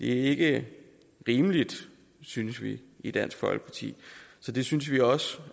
ikke rimeligt synes vi i dansk folkeparti så det synes vi også